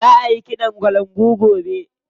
Za a yi ƙiɗan kalangu gobe.